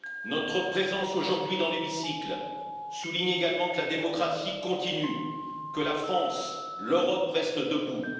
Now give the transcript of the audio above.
Notre présence aujourd'hui dans l'hémicycle souligne également que la démocratie continue, que la France et l'Europe restent debout.